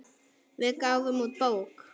Við gáfum út bók.